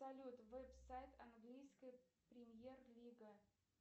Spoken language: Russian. салют веб сайт английская премьер лига